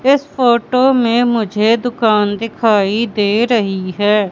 इस फोटो में मुझे दुकान दिखाई दे रही है।